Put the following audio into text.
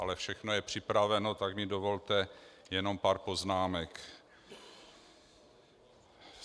Ale všechno je připraveno, tak mi dovolte jenom pár poznámek.